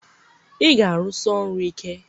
ị ga-arụsi ọrụ ike!